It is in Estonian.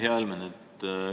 Hea Helmen!